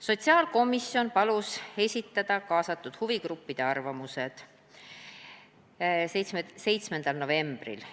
Sotsiaalkomisjon palus esitada kaasatud huvigruppide arvamused 7. novembriks.